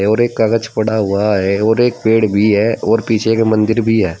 और एक कागज पड़ा हुआ है और एक पेड़ भी है और पीछे के मंदिर भी है।